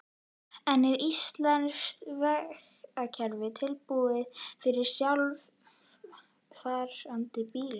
En er íslenskt vegakerfi tilbúið fyrir sjálfakandi bíla?